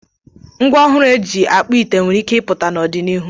Ngwá ọrụ ọhụrụ eji akpụ ite nwere ike ịpụta n'ọdịnihu.